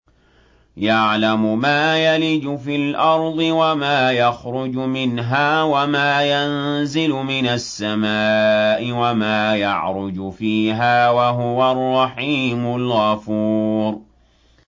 يَعْلَمُ مَا يَلِجُ فِي الْأَرْضِ وَمَا يَخْرُجُ مِنْهَا وَمَا يَنزِلُ مِنَ السَّمَاءِ وَمَا يَعْرُجُ فِيهَا ۚ وَهُوَ الرَّحِيمُ الْغَفُورُ